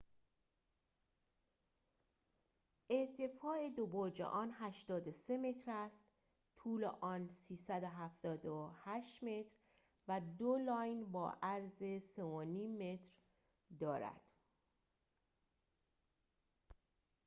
ارتفاع دو برج آن ۸۳ متر است طول آن ۳۷۸ متر و دو لاین با عرض ۳.۵۰ متر دارد